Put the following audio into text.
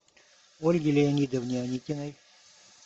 ольге леонидовне аникиной